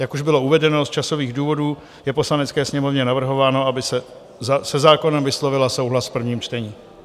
Jak už bylo uvedeno, z časových důvodů je Poslanecké sněmovně navrhováno, aby se zákonem vyslovila souhlas v prvním čtení.